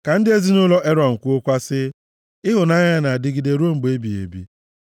Ka ndị ezinaụlọ Erọn kwuokwa sị, “Ịhụnanya ya na-adịgide ruo mgbe ebighị ebi.”